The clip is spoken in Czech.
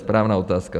Správná otázka.